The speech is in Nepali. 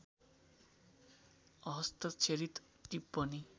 अहस्ताक्षरित टिप्पणी